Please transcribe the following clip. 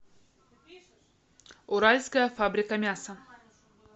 уральская фабрика мяса